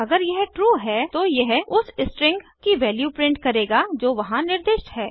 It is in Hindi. अगर यह ट्रू है तो यह उस स्ट्रिंग की वैल्यू प्रिंट करेगा जो वहां निर्दिष्ट है